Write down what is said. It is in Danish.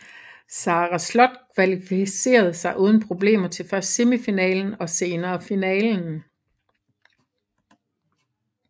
Sara Slott kvalificerede sig uden problemer til først semifinalen og senere finalen